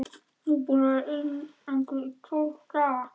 Ég er búinn að vera í einangrun í tólf daga.